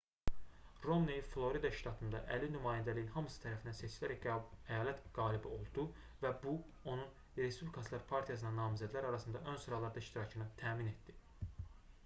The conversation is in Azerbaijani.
romney florida ştatında əlli nümayəndəliyin hamısı tərəfindən seçilərək əyalət qalibi oldu və bu onun respublikaçılar partiyasına namizədlər arasında ön sıralarda iştirakını təmin etdi